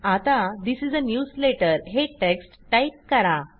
आता this is a newsletter हे text type करा